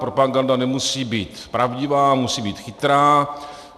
Propaganda nemusí být pravdivá, musí být chytrá.